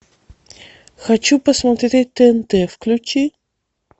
хочу посмотреть тнт включи